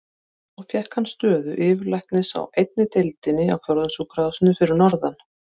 Svo fékk hann stöðu yfirlæknis á einni deildinni á Fjórðungssjúkrahúsinu fyrir norðan.